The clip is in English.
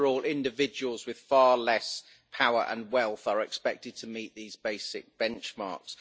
After all, individuals with far less power and wealth are expected to meet these basic benchmarks.